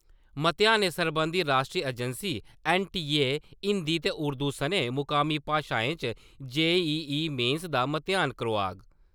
म्तेहानें सरबंधी राश्ट्री agency- NTA. Hindi ते उर्दू सनें मुकामी भाशाएं च जे.ई.ई. मेन्स दा म्तेहान करोआग |